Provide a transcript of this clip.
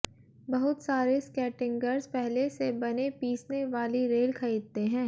बहुत सारे स्केटिंगर्स पहले से बने पीसने वाली रेल खरीदते हैं